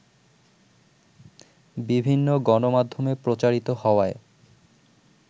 বিভিন্ন গণমাধ্যমে প্রচারিত হওয়ায়